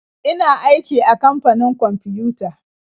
Ina aiki a kamfanin kwamfiyuta.